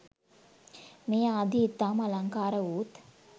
මේ ආදීය ඉතාම අලංකාරවූත්